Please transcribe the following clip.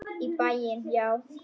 Í bæinn, já!